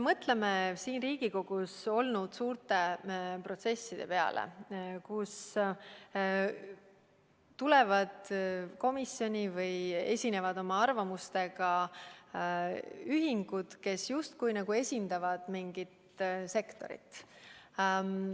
Mõtleme siin Riigikogus arenenud suurte protsesside peale, kus komisjoni on tulnud või oma arvamusi saatnud ühingud, kes justkui esindavad mingit sektorit.